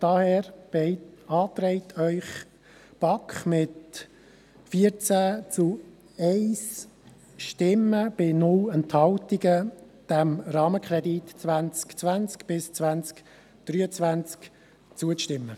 Daher beantragt Ihnen die BaK mit 14 Ja-Stimmen zu 1 Nein-Stimme bei 0 Enthaltungen, diesem Rahmenkredit 2020–2023 zuzustimmen.